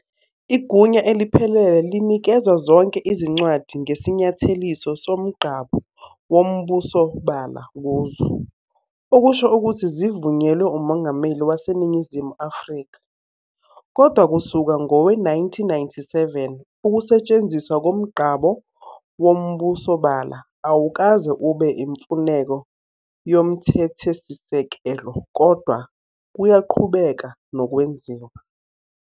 Igunya eliphelele linikezwa zonke izincwadi ngesinyatheliso soMgqabo woMbusobala kuzo, okusho ukuthi zivunyelwe UMongameli waseNingizimu Afrika. Kodwa kusuka ngowe-1997 ukusetshenziswa koMgqabo woMbusobala awukaze ube imfuneko yomthethesisekelo, kodwa kuyaqhubeka nokwenziwa.